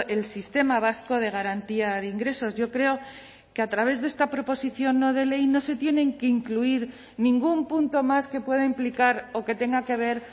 el sistema vasco de garantía de ingresos yo creo que a través de esta proposición no de ley no se tienen que incluir ningún punto más que pueda implicar o que tenga que ver